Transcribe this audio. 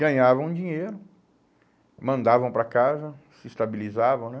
Ganhavam dinheiro, mandavam para casa, se estabilizavam né?